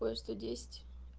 поезд сто десять